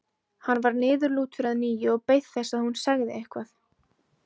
Hann varð niðurlútur að nýju og beið þess að hún segði eitthvað.